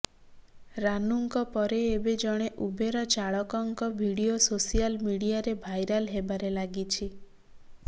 ରାନୁଙ୍କ ପରେ ଏବେ ଜଣେ ଉବେର ଚାଳକଙ୍କ ଭିଡିଓ ସୋସିଆଲ ମିଡିଆରେ ଭାଇରାଲ ହେବାରେ ଲାଗିଛି